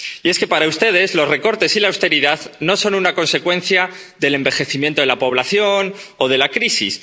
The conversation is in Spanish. Y es que, para ustedes, los recortes y la austeridad no son una consecuencia del envejecimiento de la población o de la crisis.